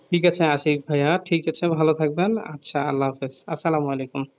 ঠিক আছে আশিক ভাইয়া ঠিক আছে ভালো থাকবেন আচ্ছা আল্লাহ হাফেজ আসসালামুয়ালাইকুম